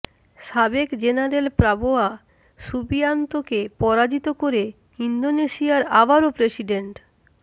সাবেক general Prabowo সুবিয়ান্তোকে পরাজিত করে ইন্দোনেশিয়ায় আবারও প্রেসিডেন্ট